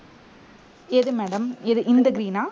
எது madam எது இந்த green ஆ